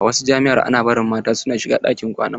A wasu jami'an ana bari mata su shiga ɗakin kwanan maza.